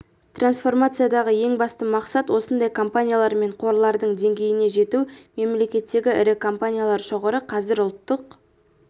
трансформациядағы ең басты мақсат осындай компаниялар мен қорлардың деңгейіне жету мемлекеттегі ірі компаниялар шоғыры қазір ұлттық